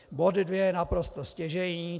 Bod dvě je naprosto stěžejní.